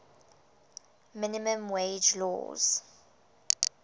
minimum wage laws